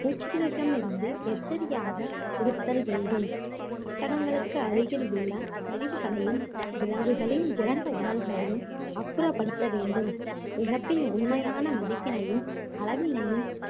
பூச்சிகளிடமிருந்து எச்சரிக்கையாக இருத்தல் வேண்டும் கட்டடங்களுக்கு அருகில் உள்ள கழிவுகளையும் விலங்குகளின் இறந்த உடல்களையும் அப்புறப்படுத்த வேண்டும் இழப்பின் உண்மையான மதிப்பினையும் அளவினையும்